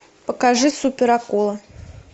покажи суперакула